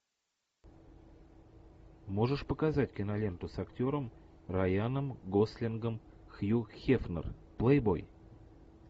можешь показать киноленту с актером райаном гослингом хью хефнер плейбой